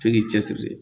F'i k'i cɛ siri